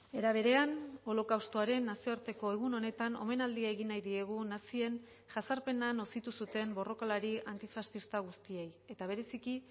era berean holokaustoaren nazioarteko egun honetan omenaldia egin nahi diegu nazien jazarpena nozitu zuten borrokalari antifaxista guztiei eta bereziki